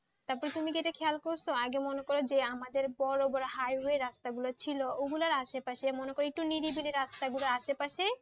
তারপর তুমি কি ইটা খেয়াল করছো আগে মনে করো আমাদের যে বড়ো বড়ো হাই ওয়ে রাস্তা গুলো ছিল ওগুলি আসে পশে মনে করো নিরিবি আসে পাশে